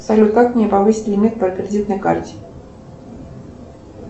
салют как мне повысить лимит по кредитной карте